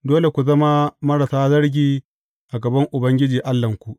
Dole ku zama marasa zargi a gaban Ubangiji Allahnku.